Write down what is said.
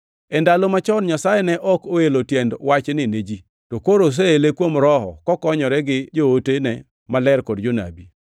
E ndalo machon Nyasaye ne ok oelo tiend wachni ne ji, to koro oseele kuom Roho, kokonyore gi jootene maler kod jonabi.